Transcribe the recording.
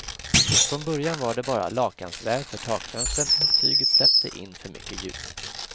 Från början var det bara lakansväv för takfönstren och tyget släppte in för mycket ljus.